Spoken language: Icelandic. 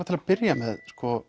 til að byrja með